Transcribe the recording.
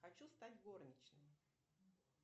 хочу стать горничной